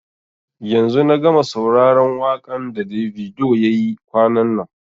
yanzu na gama sauraron wakan da Davido ya yi kwanan nan.